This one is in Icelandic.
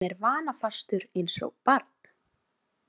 Hann er vanafastur eins og barn.